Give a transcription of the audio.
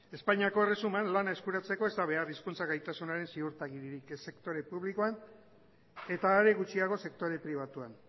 espainiako erresuman lana eskuratzeko ez da behar hizkuntza gaitasunaren ziurtagiririk ez sektore publikoan eta are gutxiago sektore pribatuan